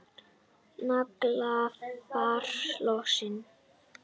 Naglfar losnar.